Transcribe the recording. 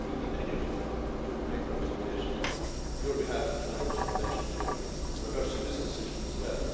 We continue to make representations on your behalf, and others, in relation to reversing this decision as well.